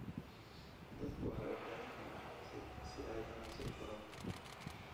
Dadku waxay u baahan yihiin aqoonsi si ay ganacsi u furaan.